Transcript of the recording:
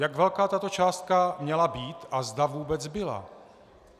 Jak velká tato částka měla být a zda vůbec byla?